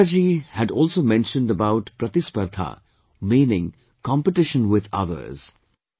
Richa Ji had also mentioned about 'PRATISPARDHA', meaning 'competition with others'